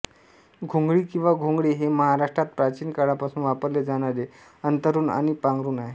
घोंगडी किंवा घोंगडे हे महाराष्ट्रात प्राचीन काळापासून वापरले जाणारे अंथरुण आणि पांघरुण आहे